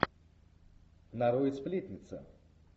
нарой сплетница